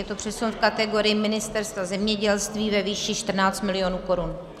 Je to přesun v kategorii Ministerstva zemědělství ve výši 14 milionů korun.